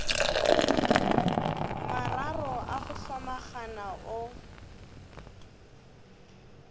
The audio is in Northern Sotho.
mararo a go hlomagana o